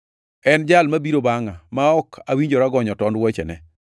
En Jal mabiro bangʼa, ma ok awinjora gonyo tond wuochene.”